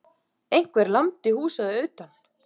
Einhver lamdi húsið að utan.